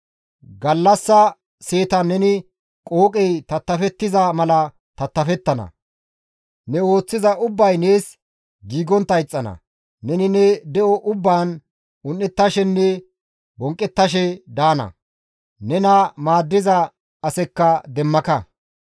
Gallassa seetan neni qooqey tattafettiza mala tattafettana; ne ooththiza ubbay nees giigontta ixxana; neni ne de7o ubbaan un7etashenne bonqqettashe daana; nena maaddiza asekka demmaka.